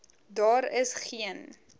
daar is geen